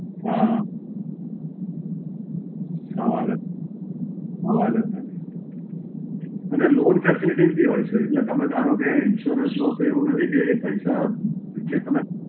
હાં, સવાલ જ નથી. સવાલ જ નથી. અને લોન Facilities બી હોય છે. એટલે તમે ધારો કે insurance લો તો એવું નથી કે એ પૈસા જે તમે